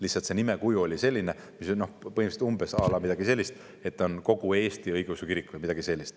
Lihtsalt see nimekuju oli selline, mis tähendanuks põhimõtteliselt umbes midagi sellist, et ta on kogu Eesti õigeusu kirik.